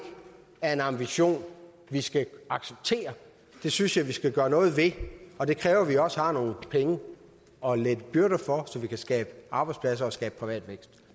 er en ambition vi skal acceptere det synes jeg vi skal gøre noget ved og det kræver at vi også har nogle penge at lette byrder så vi kan skabe arbejdspladser og skabe privat vækst